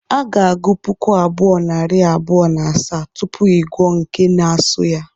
A ga-agụ puku abụọ, narị abụọ na asaa, tupu ị gụọ nke n-asọ ya